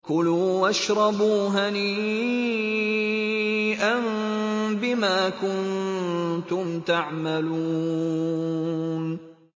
كُلُوا وَاشْرَبُوا هَنِيئًا بِمَا كُنتُمْ تَعْمَلُونَ